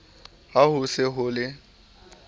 ha ho se ho le